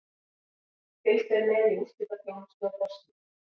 Fylgst er með í úrslitaþjónustu á forsíðu.